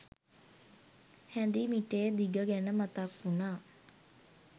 හැඳි මිටේ දිග ගැන මතක් වුණා